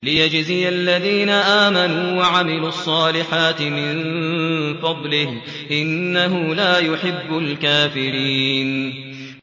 لِيَجْزِيَ الَّذِينَ آمَنُوا وَعَمِلُوا الصَّالِحَاتِ مِن فَضْلِهِ ۚ إِنَّهُ لَا يُحِبُّ الْكَافِرِينَ